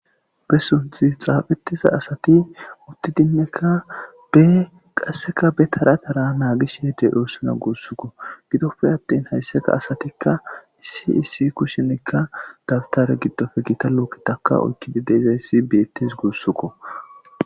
Be sunthi xaafetiza asati utti dinnekka be qasseka be taratara naagishhede oossuna guussukko gidoppe attin haysseka asatikka issi issi kushinikka dabtare giddofe gita lookkitaka oykkibideyiza issi beettes guussuko.